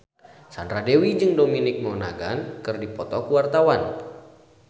Sandra Dewi jeung Dominic Monaghan keur dipoto ku wartawan